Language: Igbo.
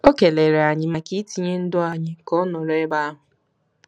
O kelere anyị maka itinye ndụ anyị ka ọ nọrọ ebe ahụ.